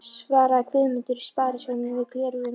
svaraði Guðmundur í Sparisjóðnum yfir gleraugun.